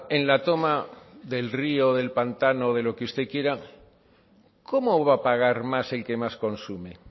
en la toma del río del pantano de lo que usted quiera cómo va a pagar más el que más consume